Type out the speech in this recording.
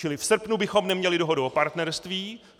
Čili v srpnu bychom neměli dohodu o partnerství.